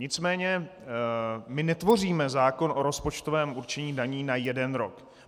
Nicméně my netvoříme zákon o rozpočtovém určení daní na jeden rok.